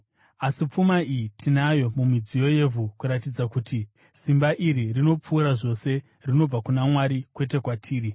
Asi pfuma iyi tinayo mumidziyo yevhu kuratidza kuti simba iri rinopfuura zvose rinobva kuna Mwari kwete kwatiri.